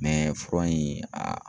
fura in a